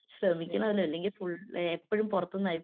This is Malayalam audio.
ശ്രമിക്കണല്ലോ അല്ലെങ്കിൽ ഫുൾ എപ്പഴും പുറത്തുന്നായിരിക്കും.